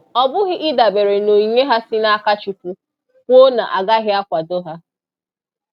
Ọbụghị ịdabere n'onyinye ha si n'aka Chukwu kwuo na agaghị akwado ha